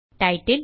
title